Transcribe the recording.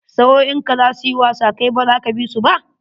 Sa'o'in ka za su yi wasa kai baza ka bi su ba?